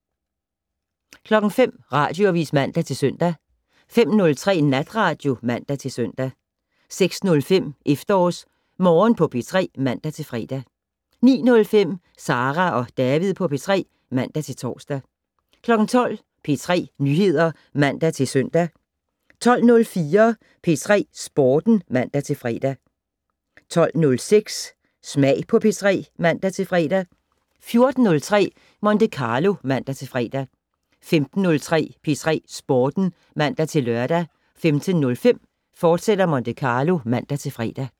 05:00: Radioavis (man-søn) 05:03: Natradio (man-søn) 06:05: EfterårsMorgen på P3 (man-fre) 09:05: Sara og David på P3 (man-tor) 12:00: P3 Nyheder (man-søn) 12:04: P3 Sporten (man-fre) 12:06: Smag på P3 (man-fre) 14:03: Monte Carlo (man-fre) 15:03: P3 Sporten (man-lør) 15:05: Monte Carlo, fortsat (man-fre)